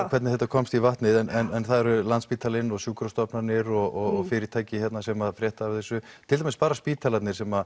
hvernig þetta komst í vatnið en það eru Landspítalinn og sjúkrastofnanir og fyrirtæki sem að fréttu af þessu til dæmis bara spítalarnir sem